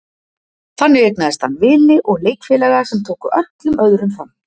Þar eignaðist hann vini og leikfélaga sem tóku öllum öðrum fram.